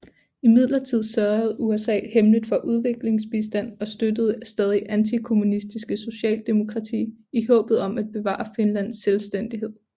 Imidlertid sørgede USA hemmeligt for udviklingsbistand og støttede det stadigt antikommunistiske Socialdemokrati i håbet om at bevare Finlands selvstændighed